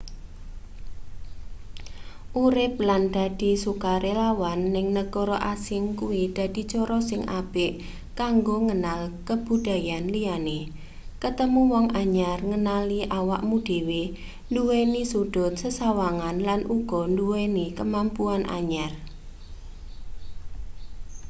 urip lan dadi sukarelawan ning negara asing kuwi dadi cara sing apik kanggo ngenal kabudayan liyane ketemu wong anyar ngenali awakmu dhewe nduweni sudhut sesawangan lan uga nduweni kemampuan anyar